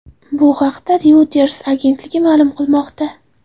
Bu haqda Reuters agentligi ma’lum qilmoqda.